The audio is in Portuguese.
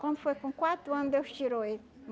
Quando foi com quatro ano, Deus tirou ele.